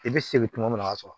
I bɛ segin tuma min na o b'a sɔrɔ